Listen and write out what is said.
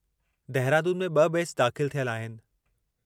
दहिरादून में 2 बैच दाख़िलु थियल आहिनि।